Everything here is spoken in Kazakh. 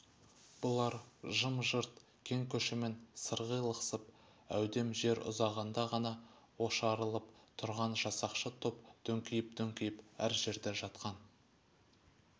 бұлар жым-жырт кең көшемен сырғи лықсып әудем жер ұзағанда ғана ошарылып тұрған жасақшы топ дөңкиіп-дөңкиіп әр жерде жатқан